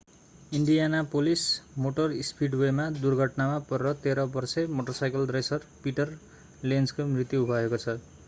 Indianapolis motor स्पिडवेमा दुर्घटनामा परेर 13 वर्षे मोटरसाइकल रेसर पिटर लेन्जको मृत्यु भएको छ